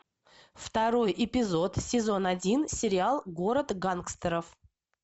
второй эпизод сезон один сериал город гангстеров